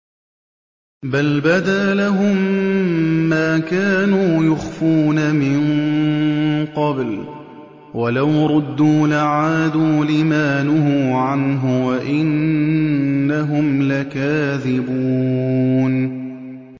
بَلْ بَدَا لَهُم مَّا كَانُوا يُخْفُونَ مِن قَبْلُ ۖ وَلَوْ رُدُّوا لَعَادُوا لِمَا نُهُوا عَنْهُ وَإِنَّهُمْ لَكَاذِبُونَ